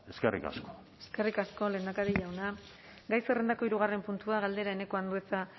eskerrik asko eskerrik asko lehendakari jauna gai zerrendako hirugarren puntua galdera eneko andueza